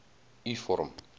u vorm